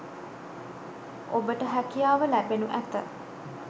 ඔබට හැකියාව ලැබෙනු ඇත.